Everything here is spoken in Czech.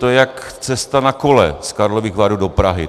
To je jak cesta na kole z Karlových Varů do Prahy.